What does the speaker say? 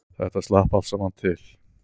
Þetta slapp allt saman til